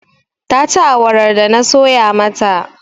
Ta ci awarar da na soya mata.